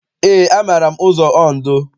Eé, amaara m ụzọ Ondo.